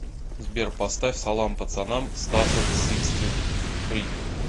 сбер поставь салам пацанам стаффорд сиксти фри